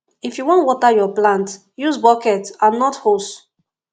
if you wan water yur plant use bucket and not hose